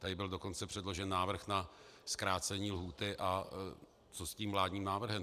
Tady byl dokonce předložen návrh na zkrácení lhůty - a co s tím vládním návrhem?